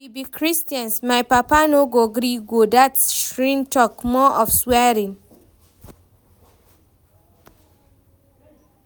We be christians, my papa no go gree go dat shrine talk more of swearing